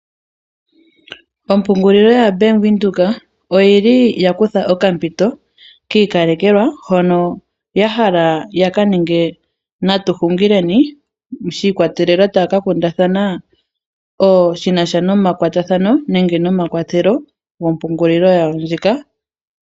Ompungulilo ya Bank Windhoek oyili yakutha okampito kiikalekelwa hono yahala yaka ninge natu hungileni taya kaninga shi ikwatelela koonkundathana shinasha nomakwatathano nenge nomakwathelo gompungulilo yawo ndjika.